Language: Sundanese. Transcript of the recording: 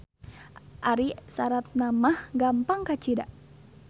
Ari saratna mah gampang kacida.